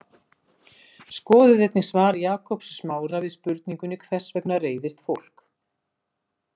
Skoðið einnig svar Jakobs Smára við spurningunni Hvers vegna reiðist fólk?